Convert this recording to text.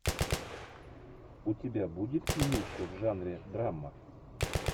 у тебя будет кинище в жанре драма